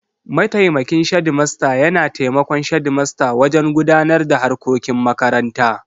Mataimakin shedimasta yana taimakon shedimasta wajen gudanar da harkokin makaranta.